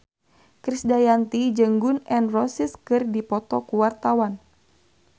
Krisdayanti jeung Gun N Roses keur dipoto ku wartawan